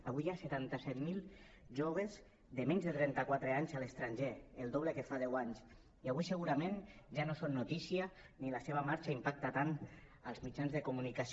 avui hi ha setanta set mil joves de menys de trenta quatre anys a l’estranger el doble que fa deu anys i avui segurament ja no són notícia ni la seva marxa impacta tant als mitjans de comunicació